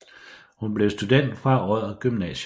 Hun blev student fra Odder Gymnasium